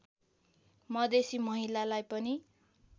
मधेसी महिलालाई पनि